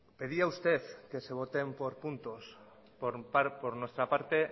pedía usted que se voten por puntos por nuestra parte